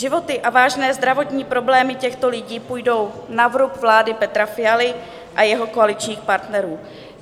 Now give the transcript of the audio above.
Životy a vážné zdravotní problémy těchto lidí půjdou na vrub vlády Petra Fialy a jeho koaličních partnerů.